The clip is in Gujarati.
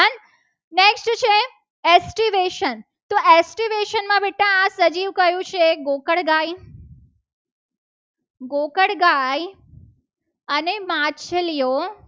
Activation તો activation માં આ સજીવ કયું છે. બેટા ગોકળગાય ગોકળગાય અને માછલીઓ